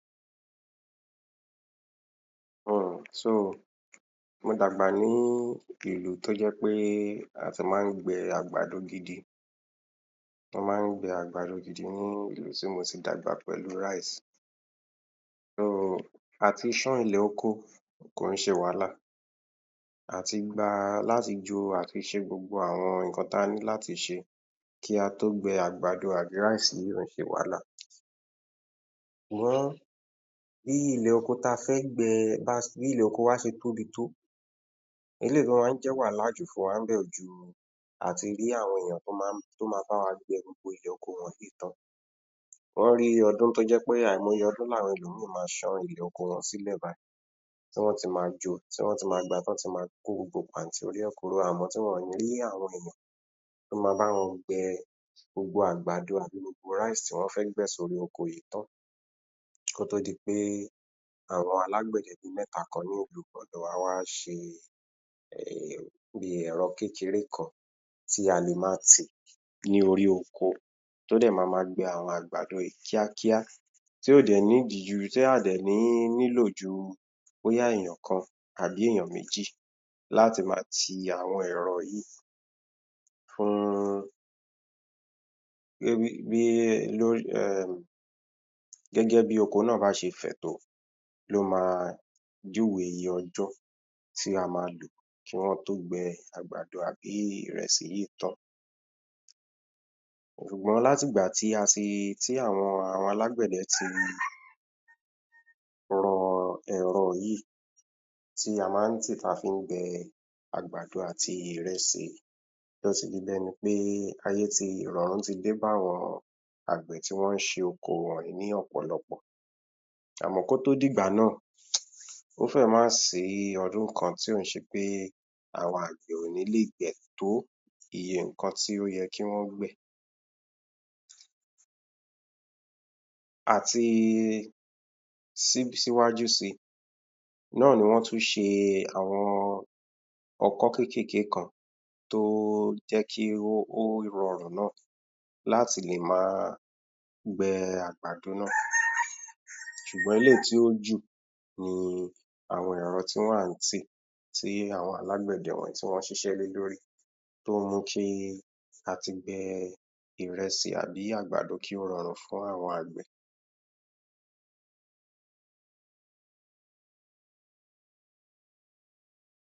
Mo dàgbà ní ìlú tó jẹ́ pé a ti máa ń gbe àgbàdo gidi, wọ́n máa ń gbe àgbàdo gidi ní ibi tí mo ti dàgbà pẹ̀lú. A ti ṣún ilẹ̀ ọkọ kì í ṣe wàhálà àti gba láti jo àti ṣe gbogbo nǹkan tí a ní láti ṣe kí a tó gbe àgbàdo àbí yìí kò ń ṣe wàhálà. Bí ilẹ̀ oko tí a fẹ́ gbe bí ilẹ̀ wa ó ṣe tóbi tó, eléyìí gan-an máa ń jẹ́ wàhálà jù fún wa níbẹ̀ kò ju àti rí àwọn ènìyàn tí ó ma bá wa gbe awon um yìí tán, ó ní ọdún tí ó jẹ́ pé àìmọye ọdún ni ẹlòmíì ma ṣán ilẹ̀ oko wọn sílẹ̀ báyìí tí wọn a ti má jo tí wọn á ti ma gba tán tí wọ́n á ti ma kó gbogbo pàntí orí rẹ̀ kúrò àmọ́ wọn kò ní rí àwọn èèyàn ti o má bá wọn gbẹ gbogbo àgbàdo àti gbogbo tí wọn fẹ́ gbẹ̀ sí orí oko yìí tán kí ó tó di pé àwọn alágbède bí mẹ́ta ni ilu ọ̀dọ̀ wa ṣe bí èrọ kékeré kan tí a lè ma tì lórí oko tí á dẹ̀ ma gbẹ àgbàdo yìí kíákíá tí ó dé ju tí a ò dẹ̀ ní nílò ju bóyá èèyàn kan àbí èèyàn méjì láti ma ti àwọn èrọ yìí fún um gẹ́gẹ́ bí oko náà bá ṣe fẹ̀ tó ló ma júwe iye ọjọ́ tí a ma lò fún kí wọ́n tó gbe àgbàdo tàbí Ìrẹsì yìí tán. Ṣùgbọ́n láti ìgbà tí àwọn alágbẹ̀de ti rọ ẹ̀rọ yíì tí a máa ń tì tí a fí n gbẹ àgbàdo àti Ìrẹsì ló fi di bí ẹni pé ìrọ̀rùn ti dé bá àwọn àgbẹ̀ tí wọn ń ṣe oko wọ̀nyìí ní ọ̀pọ̀lọpọ̀, àmọ́ kí ó tó di ìgbà náà ó fẹ̀ má sìí ọdún kan tí ò n ṣe pé àwọn àgbẹ̀ kò ní lè gbẹ̀ tó iye nǹkan tí ó yẹ kí wọ́n gbẹ̀. Àti síwájú si náà ni wọ́n tún ṣe àwọn ọkọ́ kékèké kan tí ó jẹ́ kí ó rọrùn náà láti lè ma gbẹ àgbàdo náà, ṣùgbọ́n eléyìí tí ó jù ni àwọn ẹ̀rọ tí wọ́n wà ń tì tí àwọn alágbẹ̀de wọ̀nyìí ṣiṣẹ́ lé lórí ló mú kí àtìgbẹ Ìrẹsì àbí àgbàdo kí ó rọrùn fún àgbẹ̀.